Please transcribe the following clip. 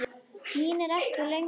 Mín er ekki lengur þörf.